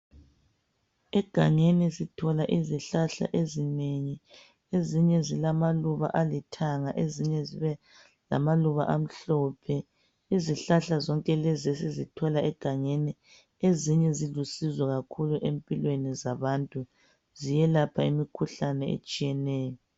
Egangeni sithola izihlahla ezinengi, ezinye zilamaluba alithanga, ezinye zibe lamaluba amhlophe. Izihlahla zonke lezi esizithola egangeni, ezinye zilusizo kakhulu empilweni zabantu, ziyelapha imikhuhlane etshiyeneyo.